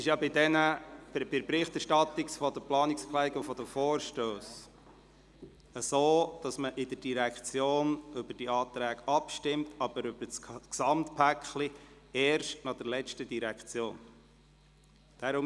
Bei der Berichterstattung über die Planungserklärungen und Vorstösse ist es so, dass wir bei der jeweiligen Direktion über Anträge abstimmen, die Abstimmung über das Gesamtpaket aber erst nach der letzten Direktion vornehmen.